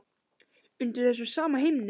Undir þessum sama himni.